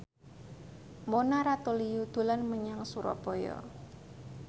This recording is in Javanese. Mona Ratuliu dolan menyang Surabaya